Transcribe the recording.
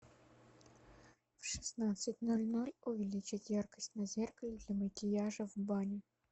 в шестнадцать ноль ноль увеличить яркость на зеркале для макияжа в бане